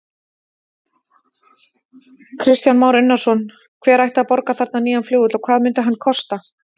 Kristján Már Unnarsson: Hver ætti að borga þarna nýja flugvöll og hvað myndi hann kosta?